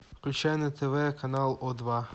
включай на тв канал о два